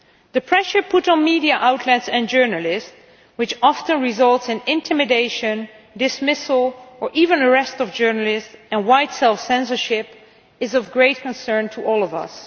The pressure put on media outlets and journalists, which often results in the intimidation, dismissal or even arrest of journalists and widespread self censorship, is of great concern to all of us.